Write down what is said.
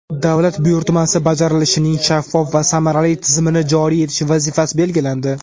davlat buyurtmasi bajarilishining shaffof va samarali tizimini joriy etish vazifasi belgilandi.